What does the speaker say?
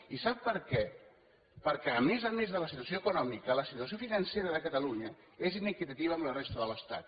i sap per què perquè a més a més de la situació econòmica la situació financera de catalunya és inequitativa amb la resta de l’estat